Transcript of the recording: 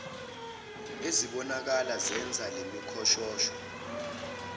ezibonakala zenza lemikhoshosho